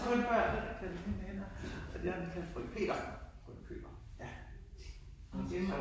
Kun børnene der kaldte hende det jeg blev kaldt frøken Petersen! ja